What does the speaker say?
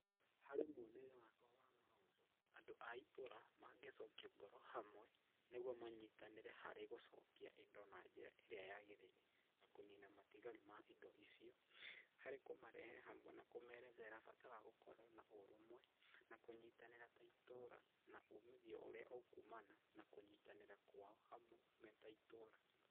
Harĩ mwonere wakwa wa maũndũ, andũ aitũũra mangĩcokia ngoro hamwe, nĩguo manyitanĩre harĩ gũcokia indo na njĩra ĩrĩa yagĩrĩire, na kũnina matigari ma indo icio, harĩ kũmarehe hamwe na kũmerethera bata wa gũkorwo na ũrũmwe, na kũnyitanĩra ta itũũra na umithio ũrĩa ũkumana na kũnyitanĩra kwao hamwe me ta itũũra.